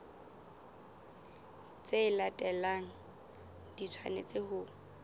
tse latelang di tshwanetse ho